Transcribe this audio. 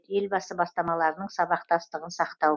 елбасы бастамаларының сабақтастығын сақтау